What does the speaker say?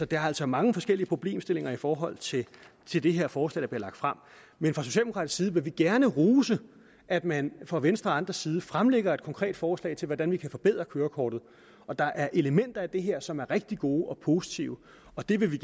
der er altså mange forskellige problemstillinger i forhold til til det her forslag der bliver lagt frem men fra socialdemokratisk side vil vi gerne rose at man fra venstre og andres side fremlægger et konkret forslag til hvordan vi kan forbedre kørekortet og der er elementer af det her som er rigtig gode og positive og det vil vi